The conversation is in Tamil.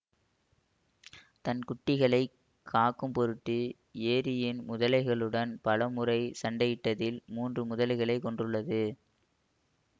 தன் குட்டிகளை காக்கும் பொருட்டு ஏரியின் முதலைகளுடன் பல முறை சண்டையிட்டதில் முன்று முதலைகளைக் கொன்றுள்ளது